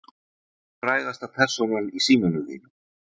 Hver er frægasta persónan í símanum þínum?